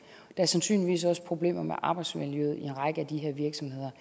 er sandsynligvis også problemer med arbejdsmiljøet i en række af de her virksomheder